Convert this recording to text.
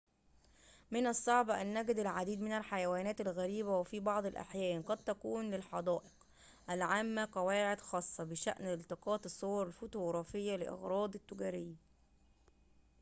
من الصعب أن نجد العديد من الحيوانات الغريبة وفي بعض الأحيان قد تكون للحدائق العامة قواعد خاصة بشأن التقاط الصور الفوتوغرافية لأغراض تجارية